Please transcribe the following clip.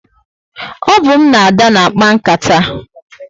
O bu m na Ada na akpa nkata